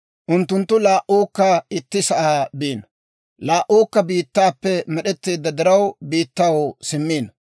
Unttunttu laa"uukka itti sa'aa biino; laa"uukka biittaappe med'etteedda diraw, biittaw simmiino.